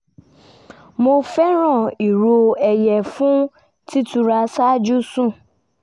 mo fẹ́ràn ìró ẹyẹ fún títura ṣáájú sùn